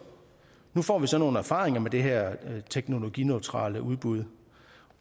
nu får vi så nogle erfaringer med det her teknologineutrale udbud